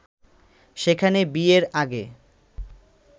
সেখানে বিয়ের আগে